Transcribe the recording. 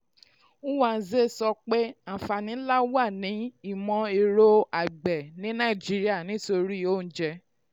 nwanze sọ pé àǹfààní nlá wà ní ìmọ̀-ẹ̀rọ àgbè ní nàìjíríà nítorí oúnjẹ.